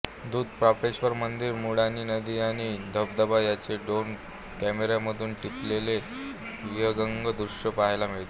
धूतपापेश्वर मंदिर मृडानी नदी आणि धबधबा यांचे ड्रोन कॅमेरामधून टिपलेले विहंगम दृश्य पहायला मिळते